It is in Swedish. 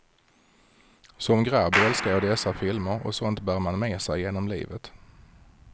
Som grabb älskade jag dessa filmer, och sådant bär man med sig genom livet.